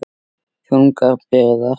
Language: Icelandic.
Þungar byrðar.